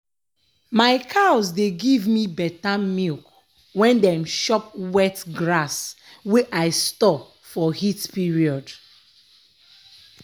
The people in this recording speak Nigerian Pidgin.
my cows dey give me beta milk wen dem chop wet grass wey i store for heat period.